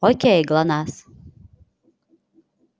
окей глонассс